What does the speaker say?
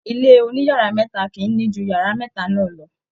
ilé oniyara meta kìí ni ju yara meta náà lọ.